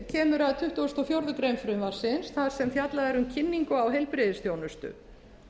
kemur að tuttugasta og fjórðu grein frumvarpsins þar sem fjallað er um kynningu á heilbrigðisþjónustu